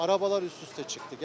Arabalar üst-üstə çıxdı.